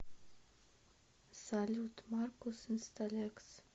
салют маркус инсталекс